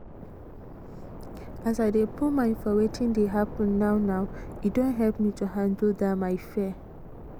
as i dey put mind for wetin dey happen now now e don help me to handle that my fear